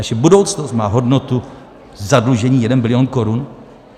Naše budoucnost má hodnotu zadlužení jeden bilion korun?